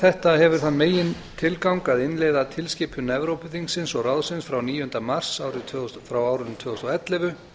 þetta hefur þann megintilgang að innleiða tilskipun evrópuþingsins og ráðsins frá níunda mars tvö þúsund og ellefu